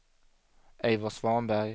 Eivor Svanberg